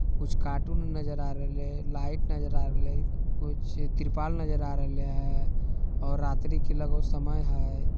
कुछ कार्टून नजर आ रेहले है लाइट नजर आ रेहले है। कुछ तिरपाल नज़र आ रेहले है और रात्री के लगभग समय है।